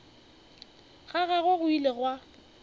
ga gagwe go ile gwa